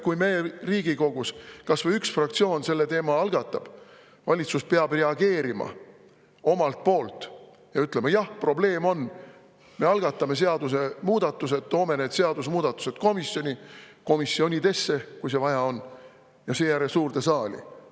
Kui Riigikogus kas või üks fraktsioon selle teema algatab, peab valitsus reageerima ja ütlema, et jah, probleem on, me algatame seadusemuudatused, toome need seadusemuudatused komisjoni, kui vaja, siis komisjonidesse, ja seejärel suurde saali.